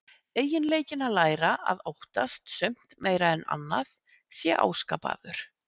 Eiginleikinn að læra að óttast sumt meira en annað sé áskapaður.